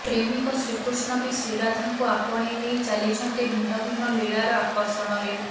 ପ୍ରେମିକ ଶ୍ରୀକୃଷ୍ଣ ବି ଶ୍ରୀରାଧାଙ୍କୁ ଆପଣେଇ ନେଇ ଚାଲିଛନ୍ତି ଭିନ୍ନ ଭିନ୍ନ ଲୀଳାର ଆକର୍ଷଣରେ